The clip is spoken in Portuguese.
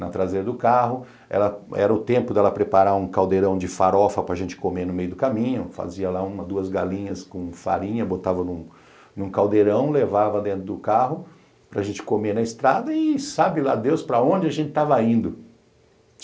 na traseira do carro, era era o tempo dela preparar um caldeirão de farofa para gente comer no meio do caminho, fazia lá uma, duas galinhas com farinha, botava num caldeirão, levava dentro do carro para gente comer na estrada e sabe lá Deus para onde a gente estava indo.